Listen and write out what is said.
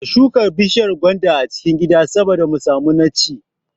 Ka shuka bishiyar gwanda a cikin gida saboda mu samu na ci